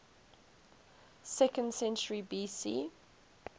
second century bc